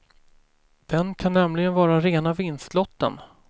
Den kan nämligen vara rena vinstlotten.